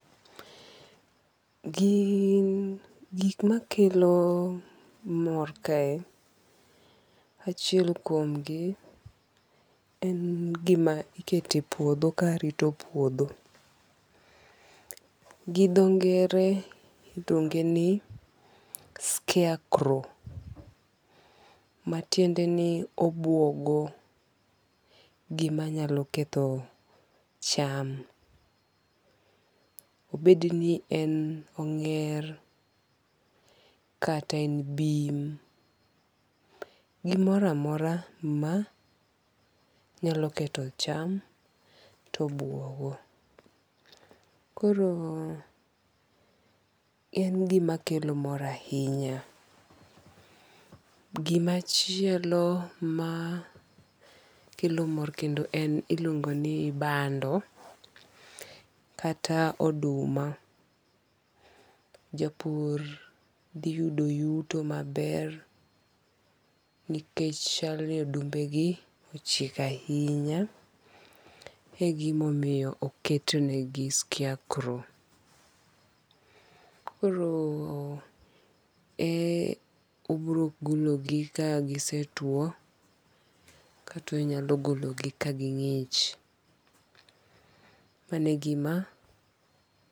Gin gik makelo mor kae achiel kuom gi en gima ikete puodho karito puodho. Gi dho ngere iluonge ni scare crow. Matiende ni obuogo gima nyalo ketho cham. Obed ni en png'er, kata en bim. Gomoro amora ma nyalo ketho cham to obuogo. Koro en gima kelo mor ahinya. Gimachielo makelo mor kendo en iluongo ni bando kata oduma. Japur dhi yudo yuto maber nikech chal ni odumbe gi ochiek ahinya e gimomiyo oket ne gi scare crow. Koro obiro golo gi ka gisetuo. Kata onyalo golo gi ka ging'ich. Mano e gima.